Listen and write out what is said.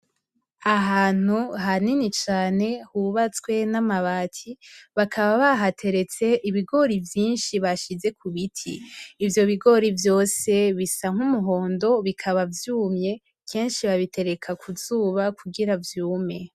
Ahantu hanini cane hubatswe n' amabati bakaba bahateretse ibigori vyinshi bashize kubiti, ivyo bigori vyose bisa n' umuhondo bikaba vyumye kenshi babitereka kuzuba kugira vyume.